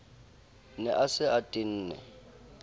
ne a se a tenne